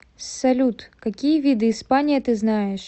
салют какие виды испания ты знаешь